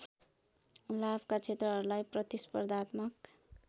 लाभका क्षेत्रहरूलाई प्रतिस्पर्धात्मक